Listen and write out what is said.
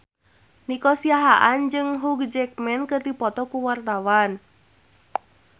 Nico Siahaan jeung Hugh Jackman keur dipoto ku wartawan